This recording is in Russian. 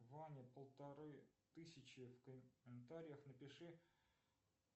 ване полторы тысячи в комментариях напиши